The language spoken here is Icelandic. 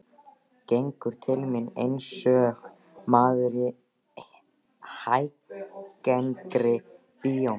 Gengur til mín einsog maður í hæggengri bíómynd.